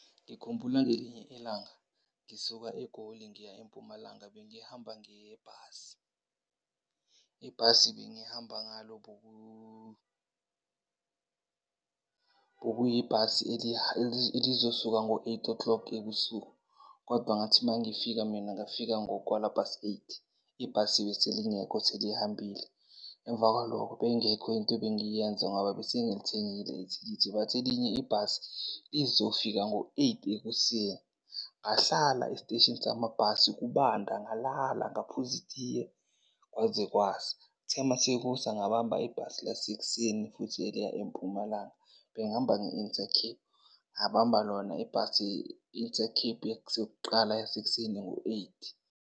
Ngikhumbula ngelinye ilanga ngisuka eGoli ngiya eMpumalanga bengihamba ngebhasi. Ibhasi ebengihamba ngalo bokuyibhasi elizosuka ngo-eight o'clock ebusuku, kodwa ngathi mangifika mina ngafika ngo-quarter past eight. Ibhasi bese lingekho selihambile, emva kwalokho beyingekho into ebengiyenza ngoba bese ngilithengile ithikithi. Bathi elinye ibhasi lizofika ngo-eight ekuseni, ngahlala esiteshini samabhasi kubanda ngalala, ngaphuza itiye kwaze kwasa. Kuthe mase kusa, ngabamba ibhasi lasekuseni futhi eliya eMpumalanga. Bengihamba nge-Intercape, ngabamba lona ibhasi i-Intercape yasekuqala yasekuseni ngo-eight.